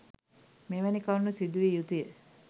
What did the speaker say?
මෙවැනි කරුණු සිදු විය යුතුය.